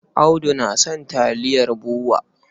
Audu na son taliyar BUA.